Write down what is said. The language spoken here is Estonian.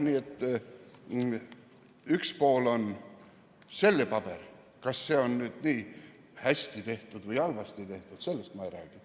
Nii et üks pool on see paber, kas see on nüüd nii hästi tehtud või halvasti tehtud, sellest ma ei räägi.